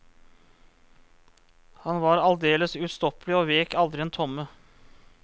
Han var aldeles ustoppelig og vek aldri en tomme.